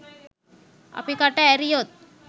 අපි කට ඇරියොත්